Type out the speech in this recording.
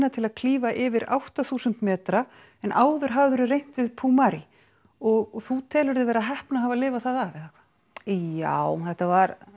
til að klífa yfir átta þúsund metra en áður hafðirðu reynt við og þú telur þig vera heppna að hafa lifað það af eða hvað já þetta var